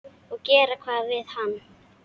Og gera hvað við hann?